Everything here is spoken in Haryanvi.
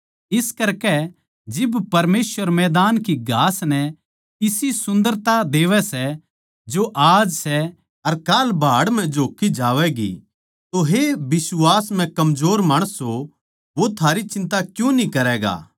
इस करकै जिब परमेसवर मैदान की घास नै इसी सुन्दरता देवै सै जो आज सै अर काल भाड़ म्ह झोक्की जावैगी तो हे बिश्वास म्ह कमजोर माणसों वो थारी चिन्ता क्यूँ न्ही करैगा